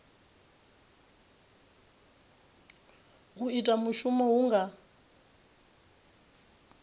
u ita mushumo hu nga